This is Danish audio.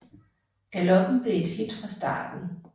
Galoppen blev et hit fra starten